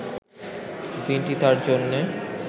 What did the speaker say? দিনটি তাঁর জন্যে